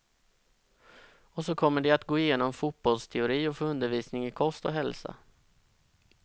Och så kommer de att gå igenom fotbollsteori och få undervisning i kost och hälsa.